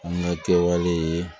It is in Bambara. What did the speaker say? An ka kɛwale